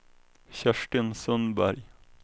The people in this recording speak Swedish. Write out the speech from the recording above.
Kerstin Sundberg